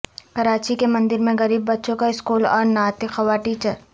کراچی کے مندر میں غریب بچوں کا سکول اور نعت خواں ٹیچر